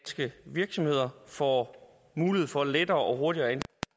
virksomheder får mulighed for lettere og hurtigere